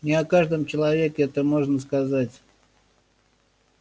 не о каждом человеке это можно сказать